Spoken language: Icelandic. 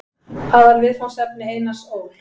Aðalviðfangsefni Einars Ól.